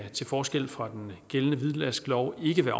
til forskel fra den gældende hvidvasklov ikke